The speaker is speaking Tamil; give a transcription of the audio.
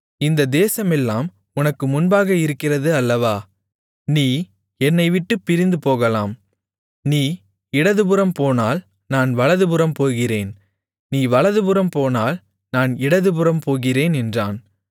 இந்த தேசமெல்லாம் உனக்குமுன்பாக இருக்கிறது அல்லவா நீ என்னைவிட்டுப் பிரிந்துபோகலாம் நீ இடதுபுறம் போனால் நான் வலதுபுறம் போகிறேன் நீ வலதுபுறம் போனால் நான் இடதுபுறம் போகிறேன் என்றான்